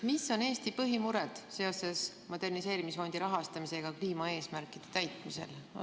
Mis on Eesti põhimured seoses moderniseerimisfondi rahastamisega kliimaeesmärkide täitmisel?